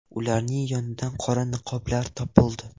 Ularning yonidan qora niqoblar topildi.